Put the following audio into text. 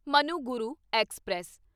Manuguru express